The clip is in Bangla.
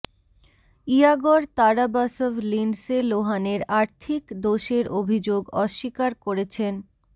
ইয়াগর তারাবাসভ লিন্ডসে লোহানের আর্থিক দোষের অভিযোগ অস্বীকার করেছেন